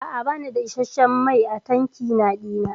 A'a bani da isasshen fetur a tankina dina.